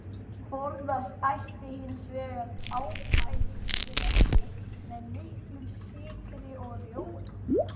Forðast ætti hins vegar ábætisrétti með miklum sykri og rjóma.